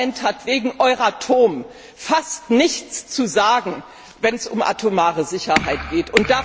Dieses Parlament hat wegen Euratom fast nichts zu sagen, wenn es um atomare Sicherheit geht.